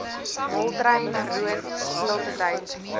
moltrein roodt stiltetyd